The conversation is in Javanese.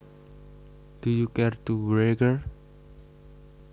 Do you care to wager